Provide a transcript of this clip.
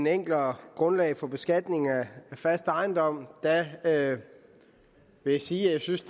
enklere grundlag for beskatning af fast ejendom vil jeg sige at jeg synes